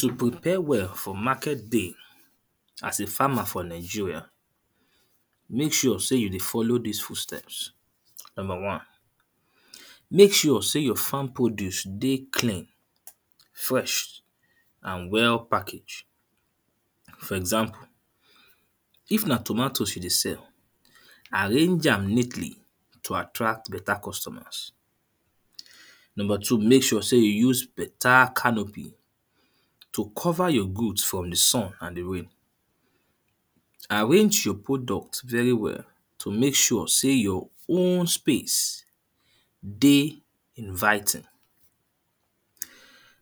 To prepare well for market day as a farmer for Nigeria, make sure sey you dey follow dis foot steps. number one; make sure sey your farm produce dey clean, fresh, and well package. for example, if na tomatoes you dey sell, arrange am neatly to attract better costumers. Number two; make sure sey you use better canopy to cover your goods from di sun and from di rain. Arrange your products very well to make sure sey your own space dey inviting.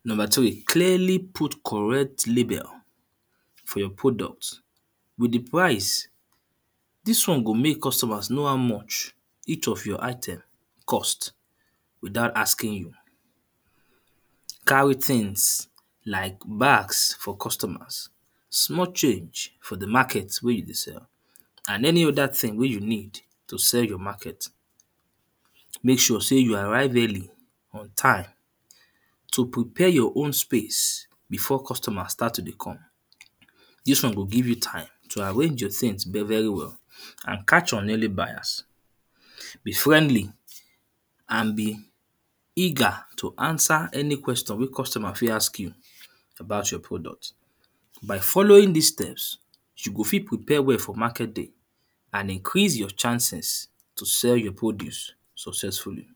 Number three; clearly put correct label for your product with di price, dis one go make costumers know how much each of your item cost without asking, carry things like bags for costumers, small change for di market wen you dey sell and any other thing wen you need to sell your market. Make sure sey you arrive early on time to prepare your own space before costumers start to dey come, dis one go give you time to arrange your things very very well and catch your early buyers, be friendly, and be eager to answer any question wey costumer fit ask you about your product by following dis steps, you go fit prepare well for market day and increase your chances to sell your produce successfully.